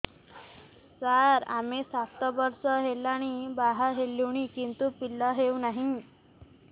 ସାର ଆମେ ସାତ ବର୍ଷ ହେଲା ବାହା ହେଲୁଣି କିନ୍ତୁ ପିଲା ହେଉନାହିଁ